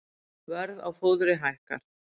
Verð á fóðri hækkar